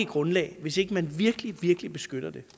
grundlag hvis ikke man virkelig virkelig beskytter det